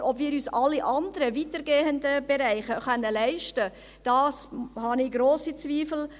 Aber ob wir uns alle anderen, weitergehenden Bereiche leisten können, darüber habe ich grosse Zweifel.